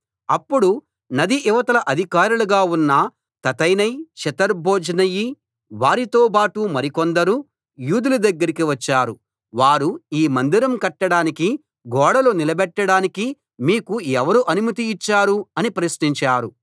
అప్పుడు నది ఇవతల అధికారులుగా ఉన్న తత్తెనై షెతర్బోజ్నయి వారితోబాటు మరికొందరు యూదుల దగ్గరికి వచ్చారు వారు ఈ మందిరం కట్టడానికి గోడలు నిలబెట్టడానికి మీకు ఎవరు అనుమతి ఇచ్చారు అని ప్రశ్నించారు